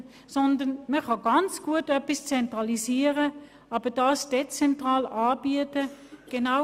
Vor dem Hintergrund der Digitalisierung kann man sehr gut etwas zentralisieren, es aber dezentral anbieten.